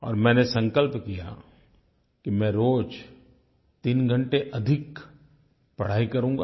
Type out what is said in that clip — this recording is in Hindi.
और मैंने संकल्प किया कि मैं रोज़ 3 घंटे अधिक पढ़ाई करूँगा